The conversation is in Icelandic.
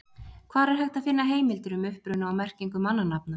Hvar er hægt að finna heimildir um uppruna og merkingu mannanafna?